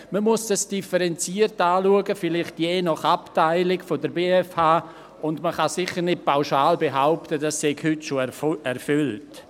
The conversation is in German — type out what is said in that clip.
Man muss dies differenziert betrachten, vielleicht je nach Abteilung der BFH, und man kann sicher nicht pauschal behaupten, dies sei heute schon erfüllt.